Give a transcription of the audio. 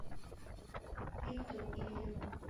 виктору ильину